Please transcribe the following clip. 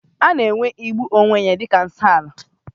A na-ewere igbu onwe ya dị ka nsoala